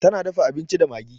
Ta na dafa abinci da magi.